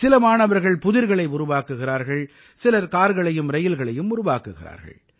சில மாணவர்கள் புதிர்களை உருவாக்குகிறார்கள் சிலர் கார்களையும் ரயில்களையும் உருவாக்குகிறார்கள்